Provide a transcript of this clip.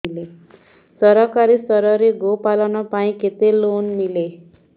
ସରକାରୀ ସ୍ତରରେ ଗୋ ପାଳନ ପାଇଁ କେତେ ଲୋନ୍ ମିଳେ